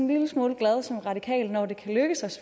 lille smule glad som radikal når det kan lykkes